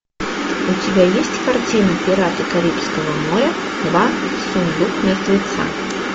у тебя есть картина пираты карибского моря два сундук мертвеца